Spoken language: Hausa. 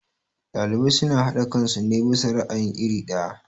Ɗalibai suna haɗe kansu ne bisa ra'ayi iri ɗaya.